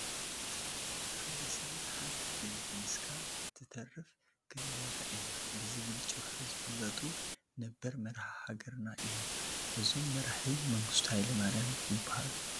ሓደ ሰብን ሓንቲ ጥይትን እስካብ እትተርፍ ክንዋጋእ ኢና ብዝብሉ ጭርሆ ዝፍለጡ ነበር መራሒ ሃገርና እዮም፡፡ እዞም መራሒ መንግስቱ ሃይለማርያም ይበሃሉ፡፡